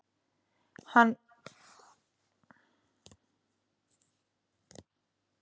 Nei, hann húkir hér í einu leiguherbergi og bíður eftir því að